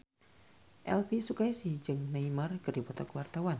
Elvy Sukaesih jeung Neymar keur dipoto ku wartawan